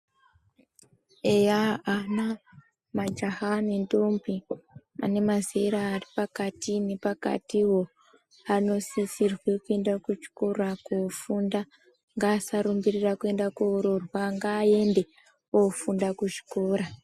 Eya ana majaha nendombi vane mazera aripakati nepakati ivo vanosisirwe kuenda kuchikora kofunda ngasarumbirira kuenda koroorwa ngaaende ofunda kuzvikora.